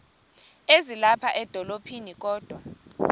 ezilapha edolophini kodwa